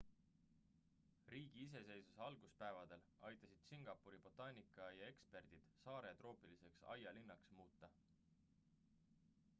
riigi iseseisvuse alguspäevadel aitasid singapuri botaanikaaia eksperdid saare troopiliseks aialinnaks muuta